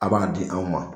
A b'a di anw ma